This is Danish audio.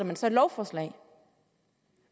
man så et lovforslag